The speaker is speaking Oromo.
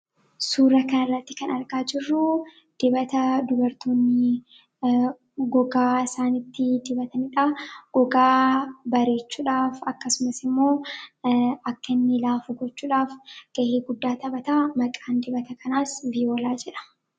Suuraa kanarratti kan argaa jirruu dibata dubartionni gogaa isaanitti dibatanidha. Gogaa bareechuudhaaf akkasumas immoo akka inni laafu gochuudhaaf ga'ee guddaa taphata maqaan dibata kanaas viyoolaa jedhama.